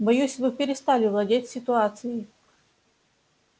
боюсь вы перестали владеть ситуацией